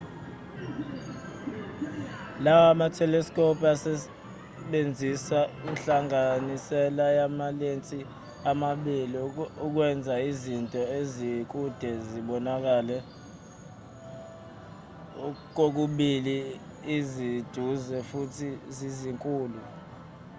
lawa matheleskobhu asebenzisa inhlanganisela yamalensi amabili ukwenza izinto ezikude zibonakale kokubili zisiduze futhi zizinkulu